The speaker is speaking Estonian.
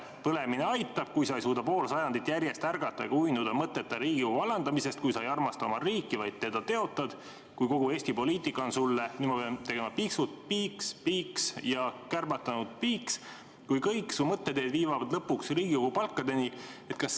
Põlemine aitab, kui Sa ei suuda pool sajandit järjest ärgata ega uinuda mõtteta Riigikogu alandamisest, kui Sa ei armasta oma riiki, vaid teda teotad, kui kogu Eesti poliitika on Sulle – piiks, piiks – ja kärbatanud – piiks –, kui kõik Su mõtteteed viivad lõpuks Riigikogu palkadeni.